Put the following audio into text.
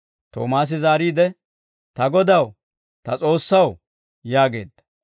Toomaasi zaariide, «Ta Godaw, ta S'oossaw!» yaageedda.